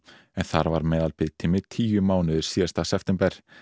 en þar var meðalbiðtími tíu mánuðir síðasta september